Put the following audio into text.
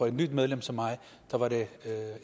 et nyt medlem som mig var det